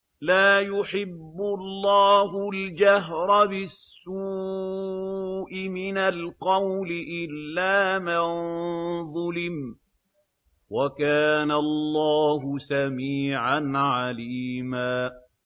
۞ لَّا يُحِبُّ اللَّهُ الْجَهْرَ بِالسُّوءِ مِنَ الْقَوْلِ إِلَّا مَن ظُلِمَ ۚ وَكَانَ اللَّهُ سَمِيعًا عَلِيمًا